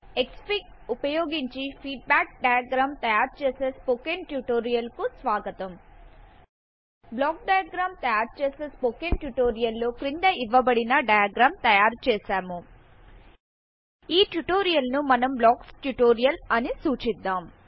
Xfig ఉపయోగించి feedback diagram తయారు చేసే స్పోకెన్ ట్యుటోరియల్ కు స్వాగతం బ్లాక్ డైయగ్ర్యామ్ తయారు చేసే స్పోకెన్ ట్యుటోరియల్ లో క్రింద ఇవ్వబడిన డయాగ్రామ్ తయారు చేసాము ఈ ట్యుటోరియల్ ను మనం బ్లాక్స్ ట్యూటోరియల్ అని సూచిద్దాం